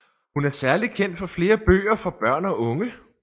Hun er særlig kendt for flere bøger for børn og unge